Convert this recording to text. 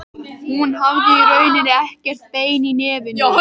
Hún hafði í rauninni ekkert bein í nefinu.